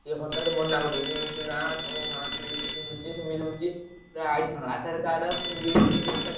ସେ ହଠାତ ମନାକରିଦଉଛନ୍ତି, କହୁଛନ୍ତି, ନା ତମ ଗାଁରେ ଏମିତି ହଉଛି ସେମିତି ହଉଛି Aadhar card ଇଏ ସିଏ ସବୁ।